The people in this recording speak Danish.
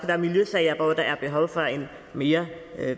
være miljøsager hvor der er behov for en mere